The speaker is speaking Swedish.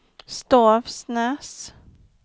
Stavsnäs